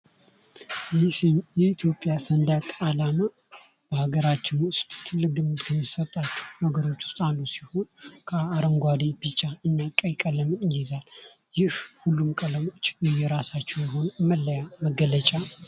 ይህ የኢትዮጵያ ሰንደቅ አላማ በሀገራችን ውስጥ ትልቅ ግምት ከሚሰጣቸው ነገሮች ውስጥ አንዱ ሲሆን ከአረንጓዴ ቢጫና ቀይ ቀለም ይይዛል። ይህ ሁሉም ቀለሞች የየራሳቸው የሆነ መለያ መገለጫ